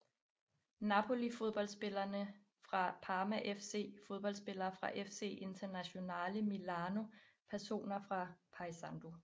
Napoli Fodboldspillere fra Parma FC Fodboldspillere fra FC Internazionale Milano Personer fra Paysandú